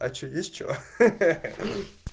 а что есть что ха-ха